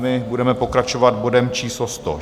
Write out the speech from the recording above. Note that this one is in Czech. My budeme pokračovat bodem číslo